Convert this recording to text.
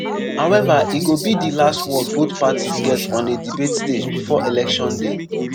however e go be di last word both parties get on a debate stage before election day.